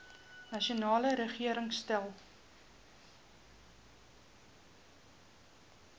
nasionale regering stel